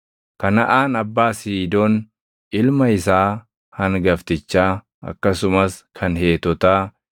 Kanaʼaan abbaa Siidoon ilma isaa hangaftichaa, akkasumas kan Heetotaa,